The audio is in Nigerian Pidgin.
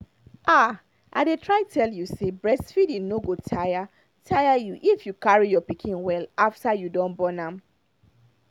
ah i dey try tell you say breastfeeding no go tire tire you if you carry your pikin well after you don born am